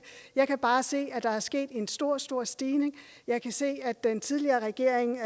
jeg kan bare se at der er sket en stor stor stigning jeg kan se at det af den tidligere regering